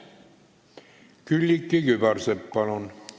Külliki Kübarsepp, palun!